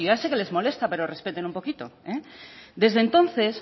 si yo ya sé que les molesta pero respeten un poquito desde entonces